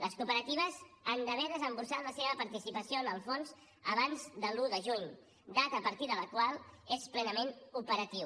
les cooperatives han d’haver desemborsat la seva participació en el fons abans de l’un de juny data a partir de la qual és plenament operatiu